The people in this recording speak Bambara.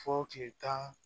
Fɔ kile tan